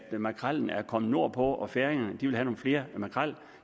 makrellen er kommet nordpå og færingerne vil have nogle flere makreller